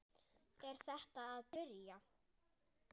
Er þetta að byrja?